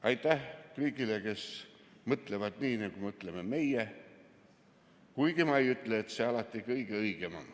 Aitäh kõigile, kes mõtlevad nii, nagu mõtleme meie, kuigi ma ei ütle, et see on alati kõige õigem.